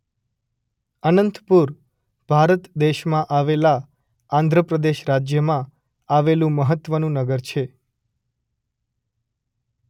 અનંતપુર ભારત દેશમાં આવેલા આંધ્ર પ્રદેશ રાજ્યમાં આવેલું મહત્વનું નગર છે.